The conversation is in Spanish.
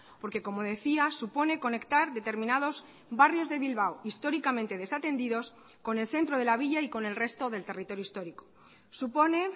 porque como decía supone conectar determinados barrios de bilbao históricamente desatendidos con el centro de la villa y con el resto del territorio histórico supone